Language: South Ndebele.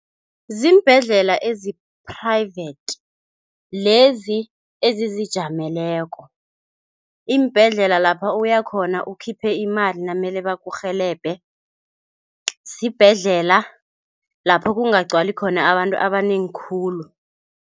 Ziimbhendlela ezi-private lezi ezizijameleko. Iimbhedlela lapha uyakhona ukhiphe imali namele bakurhelebhe sibhedlela lapho kungagcwali khona abantu abanengi khulu.